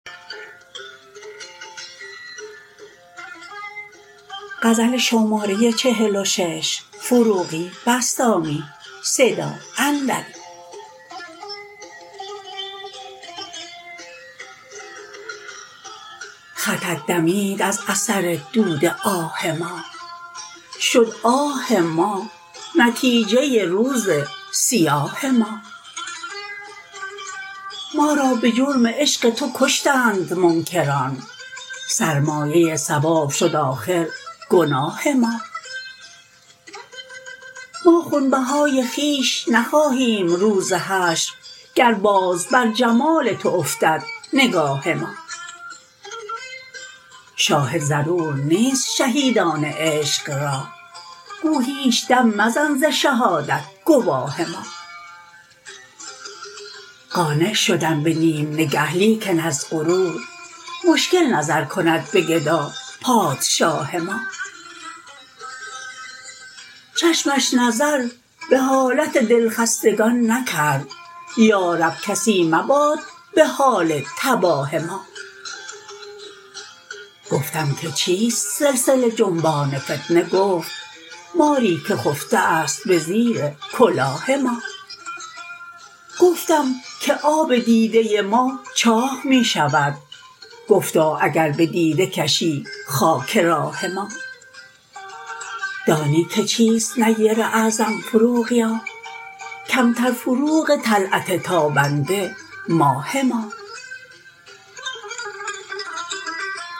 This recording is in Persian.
خطت دمید از اثر دود آه ما شد آه ما نتیجه روز سیاه ما ما را به جرم عشق تو کشتند منکران سرمایه ثواب شد آخر گناه ما ما خون بهای خویش نخواهیم روز حشر گر باز بر جمال تو افتد نگاه ما شاهد ضرور نیست شهیدان عشق را گو هیچ دم مزن ز شهادت گواه ما قانع شدم به نیم نگه لیکن از غرور مشکل نظر کند به گدا پادشاه ما چشمش نظر به حالت دل خستگان نکرد یا رب کسی مباد به حال تباه ما گفتم که چیست سلسله جنبان فتنه گفت ماری که خفته است به زیر کلاه ما گفتم که آب دیده ما چاه می شود گفتا اگر به دیده کشی خاک راه ما دانی که چیست نیر اعظم فروغیا کمتر فروغ طلعت تابنده ماه ما